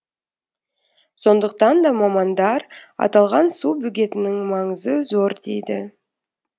сондықтан да мамандар аталған су бөгетінің маңызы зор дейді